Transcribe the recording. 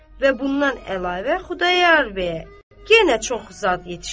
Və bundan əlavə Xudayar bəyə yenə çoxlu zad yetişdi.